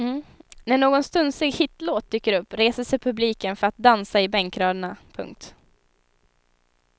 När någon stunsig hitlåt dyker upp reser sig publiken för att dansa i bänkraderna. punkt